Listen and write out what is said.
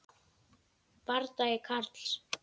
Bardagi Karls